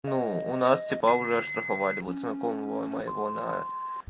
ну у нас типа уже оштрафовали вот знакомого моего на